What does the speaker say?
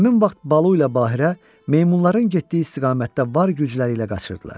Həmin vaxt Balu ilə Bahirə meymunların getdiyi istiqamətdə var gücləri ilə qaçırdılar.